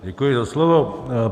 Děkuji za slovo.